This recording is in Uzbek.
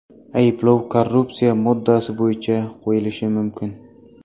Ayblov korrupsiya moddasi bo‘yicha qo‘yilishi mumkin.